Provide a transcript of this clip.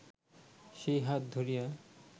সেই হাত ধরিয়া